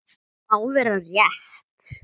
Það má vera rétt.